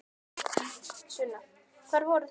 Sunna: Hvar voru þessir?